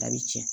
A bi cɛn